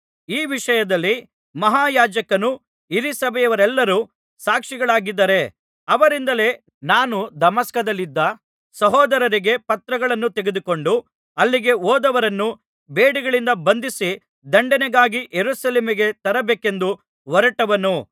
ಈ ವಿಷಯದಲ್ಲಿ ಮಹಾಯಾಜಕನೂ ಹಿರೀಸಭೆಯರೆಲ್ಲರೂ ಸಾಕ್ಷಿಗಳಾಗಿದ್ದಾರೆ ಅವರಿಂದಲೇ ನಾನು ದಮಸ್ಕದಲ್ಲಿದ್ದ ಸಹೋದರರಿಗೆ ಪತ್ರಗಳನ್ನು ತೆಗೆದುಕೊಂಡು ಅಲ್ಲಿಗೆ ಹೋದವರನ್ನೂ ಬೇಡಿಗಳಿಂದ ಬಂಧಿಸಿ ದಂಡನೆಗಾಗಿ ಯೆರೂಸಲೇಮಿಗೆ ತರಬೇಕೆಂದು ಹೊರಟವನು